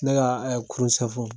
Ne ka ɛɛ kurun